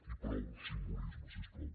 i prou simbolisme si us plau